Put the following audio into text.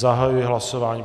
Zahajuji hlasování.